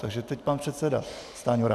Takže teď pan předseda Stanjura.